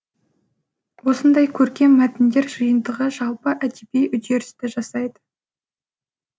осындай көркем мәтіндер жиынтығы жалпы әдеби үдерісті жасайды